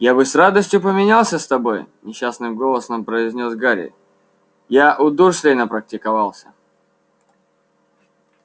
я бы с радостью поменялся с тобой несчастным голосом произнёс гарри я у дурслей напрактиковался